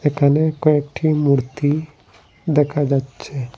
একানে কয়েকটি মূর্তি দেকা যাচ্ছে।